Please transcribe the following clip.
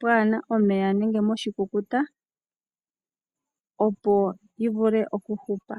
pwaana omeya nenge moshikukuta opo yivule okuhupa.